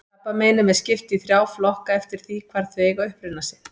Krabbameinum er skipt í þrjá flokka eftir því hvar þau eiga uppruna sinn.